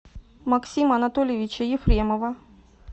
максима анатольевича ефремова